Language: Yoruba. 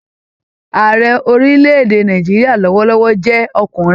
Ààrẹ orílẹ̀-èdè Nàìjíríà lọwọlọwọ jẹ ọkùnrin.